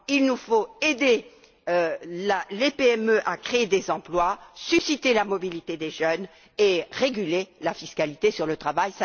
Il nous faut aider les PME à créer des emplois, susciter la mobilité des jeunes et réguler la fiscalité sur le travail.